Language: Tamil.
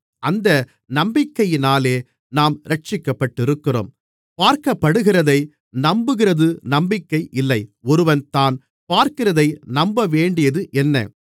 அந்த நம்பிக்கையினாலே நாம் இரட்சிக்கப்பட்டிருக்கிறோம் பார்க்கப்படுகிறதை நம்புகிறது நம்பிக்கை இல்லை ஒருவன் தான் பார்க்கிறதை நம்பவேண்டியது என்ன